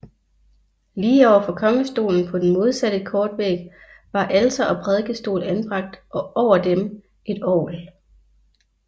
Lige over for kongestolen på den modsatte kortvæg var alter og prædikestol anbragt og over dem et orgel